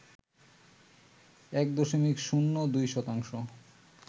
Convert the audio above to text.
১ দশমিক শূন্য ২ শতাংশ